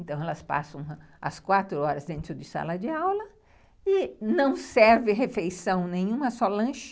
Então, elas passam as quatro horas dentro de sala de aula e não serve refeição nenhuma, só lanche,